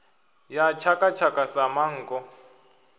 ya tshaka tshaka sa manngo